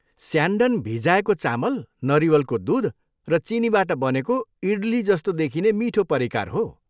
स्यान्डन भिजाएको चामल, नरिवलको दुध र चिनीबाट बनेको इडली जस्तो देखिने मिठो परिकार हो।